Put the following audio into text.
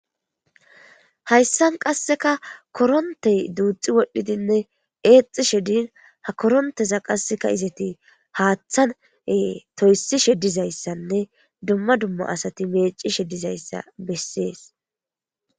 hayssan qasseka korontey duuxi wodhdhidinne eexi she din ha koronteza qasseka izati haaththan toysishe dizayssanne dumma dumma asati meeci she dizayssa bessees